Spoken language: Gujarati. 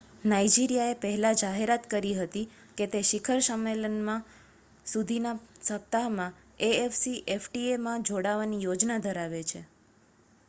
નાઇજીરિયાએ પહેલા જાહેરાત કરી હતી કે તે શિખર સંમેલન સુધીના સપ્તાહમાં એ.એફ.સી.એફ.ટી.એ માં જોડાવાની યોજના ધરાવે છે